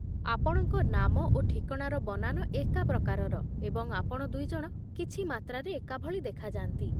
ଆପଣଙ୍କ ନାମ ଓ ଠିକଣାର ବନାନ ଏକା ପ୍ରକାରର, ଏବଂ ଆପଣ ଦୁଇଜଣ କିଛି ମାତ୍ରାରେ ଏକାଭଳି ଦେଖାଯାନ୍ତି